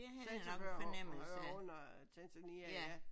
Zanzibar hører under Tanzania ja